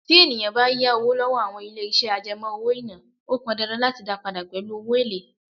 Tí ènìyàn bá yá owó lọ́wọ́ àwọn ilé iṣẹ́ àjẹmó owó-ìná, ó pọn dandan láti dá padà pẹ̀lú èlé.